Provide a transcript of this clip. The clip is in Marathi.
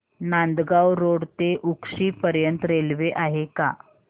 नांदगाव रोड ते उक्षी पर्यंत रेल्वे आहे का